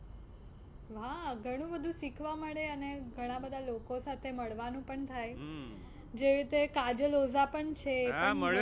વાહ ઘણું બધું શીખવા મળે અને ઘણા બધા લોકો સાથે મળવાનું પણ થાય, જે રીતે કાજલ ઓઝા પણ છે